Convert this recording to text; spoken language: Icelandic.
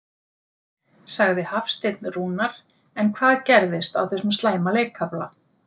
sagði Hafsteinn Rúnar en hvað gerðist á þessum slæma leikkafla?